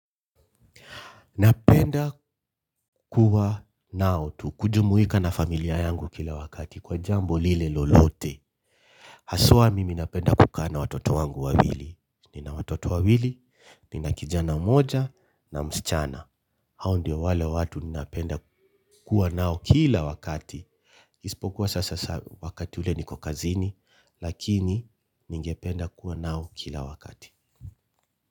Napenda kuwa nao tu kujumuika na familia yangu kila wakati kwa jambo lile lolote. Haswa mimi napenda kukaa na watoto wangu wawili, nina watoto wawili, nina kijana mmoja na msichana. Hao ndio wale watu napenda kuwa nao kila wakati. Isipokuwa sasa wakati ule niko kazini, lakini ninge penda kuwa nao kila wakati.